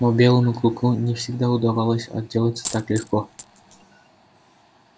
но белому клыку не всегда удавалось отделаться так легко